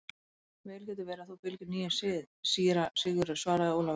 Vel getur verið að þú fylgir nýjum sið, síra Sigurður, svaraði Ólafur.